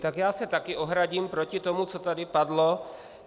Tak já se také ohradím proti tomu, co tady padlo.